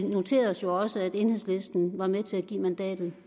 vi noterer os også at enhedslisten var med til at give mandatet